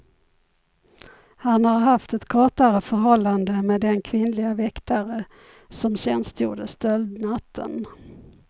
Han har haft ett kortare förhållande med den kvinnliga väktare som tjänstgjorde stöldnatten.